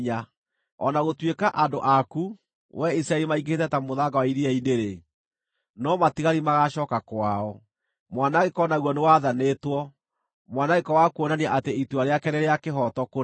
O na gũtuĩka andũ aku, wee Isiraeli maingĩhĩte ta mũthanga wa iria-inĩ-rĩ, no matigari magaacooka kwao. Mwanangĩko naguo nĩwathanĩtwo, mwanangĩko wa kuonania atĩ itua rĩake nĩ rĩa kĩhooto kũna.